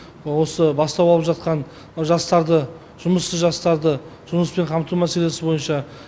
осы бастау алып жатқан мына жастарды жұмыссыз жастарды жұмыспен қамту мәселесі бойынша